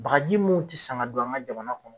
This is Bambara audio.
Bagaji mun ti san ka don an ŋa jamana kɔnɔ